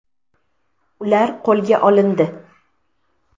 Ular qo‘lga olindi.